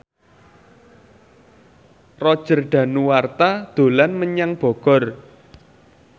Roger Danuarta dolan menyang Bogor